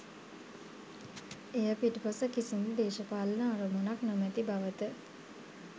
එය පිටුපස කිසිදු දේශපාලන අරමුණක් නොමැති බවත